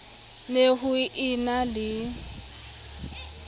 ne ho e na le